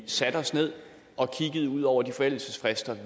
satte os ned og kiggede ud over de forældelsesfrister